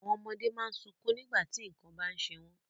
Àwọn ọmọdé má ń sunkún nígbà tí nǹkan bá ń ṣe wọ́n